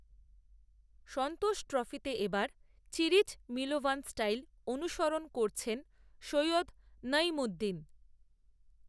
সন্তোষ ট্রফিতে এ বার চিরিচ মিলোভান স্টাইল অনুসরণ করছেন, সৈয়দ নঈমুদ্দিন